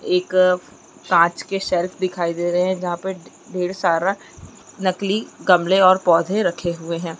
एक कांच के सेल्फ दिखाई दे रहे है जहां पे ढेर सारा नकली गमले पेड़ पौधे रखे हुए है।